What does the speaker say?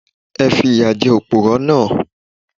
Ẹ fi ìyà jẹ Òpùrọ́ náà.